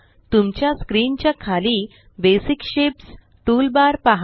तुमच्या स्क्रीन च्या खाली बेसिक शेप्स टूलबार पहा